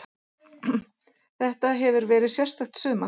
Þetta hefur verið sérstakt sumar.